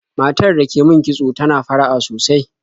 Matar da ke min kitso tana fara'a sosai.